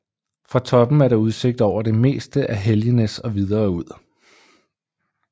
Fra toppen er der udsigt over det meste af Helgenæs og videre ud